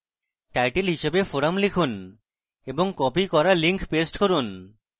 title হিসাবে forum লিখুন এবং copied করা link paste করুন